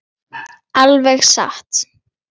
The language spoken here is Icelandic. Alveg satt!